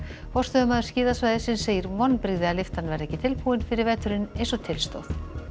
forstöðumaður skíðasvæðisins segir vonbrigði að lyftan verði ekki tilbúin fyrir veturinn eins og til stóð